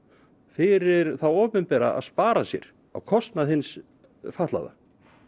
fyrir hið opinbera að spara sér á kostnað hins fatlaða